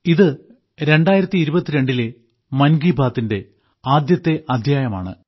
ഇത് 2022 ലെ മൻ കി ബാത്തിന്റെ ആദ്യത്തെ അദ്ധ്യായമാണ്